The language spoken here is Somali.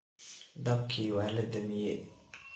Daabki waladamiye.